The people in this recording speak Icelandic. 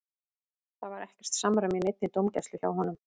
Það var ekkert samræmi í neinni dómgæslu hjá honum.